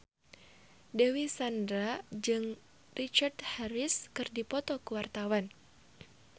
Dewi Sandra jeung Richard Harris keur dipoto ku wartawan